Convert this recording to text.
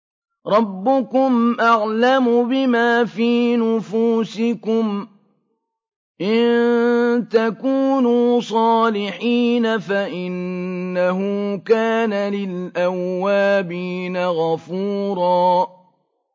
رَّبُّكُمْ أَعْلَمُ بِمَا فِي نُفُوسِكُمْ ۚ إِن تَكُونُوا صَالِحِينَ فَإِنَّهُ كَانَ لِلْأَوَّابِينَ غَفُورًا